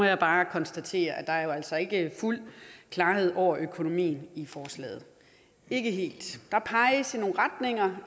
jeg bare konstatere at der jo altså ikke er fuld klarhed over økonomien i forslaget ikke helt der peges i nogle retninger